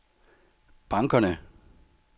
bankerne